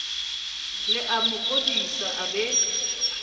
le amo kodisa a be